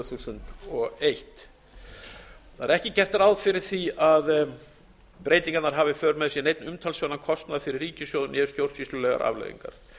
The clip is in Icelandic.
þúsund og eitt það er ekki gert ráð fyrir því að breytingarnar hafi í för með sér neinn umtalsverðan kostnað fyrir ríkissjóð né stjórnsýslulegar afleiðingar